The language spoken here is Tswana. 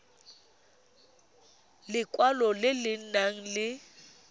lekwalo le le nang le